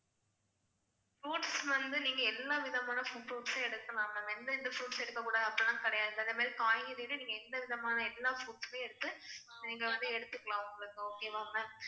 fruits வந்து நீங்க எல்லா விதமான fruits சு எடுக்கலாம் ma'am. இந்த இந்த fruits எடுக்க கூடாது அப்படிலாம் கிடையாது. அந்த மாதிரி காய்கறில நீங்க எந்தவிதமான எல்லா fruits சுமே எடுத்து நீங்க வந்து எடுத்துக்கலாம் உங்களுக்கு okay வா ma'am